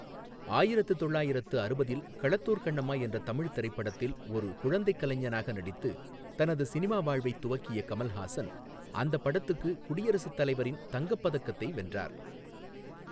ஆயிரத்து தொள்ளாயிரத்து அறுபதில் களத்தூர் கண்ணம்மா என்ற தமிழ் திரைப்படத்தில் ஒரு குழந்தைக் கலைஞனாக நடித்து தனது சினிமா வாழ்வைத் துவக்கிய கமல்ஹாசன், அந்தப் படத்துக்கு குடியரசுத் தலைவரின் தங்கப் பதக்கத்தை வென்றார்.